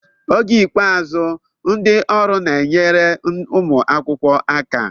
Oge ikpeazụ, ndị ọrụ na-enyere ụmụ akwụkwọ aka.